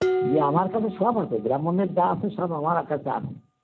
ইয়ে আমার কাছে সব আছে, ব্রাহ্মণের যা আছে সব আমার কাছে আছে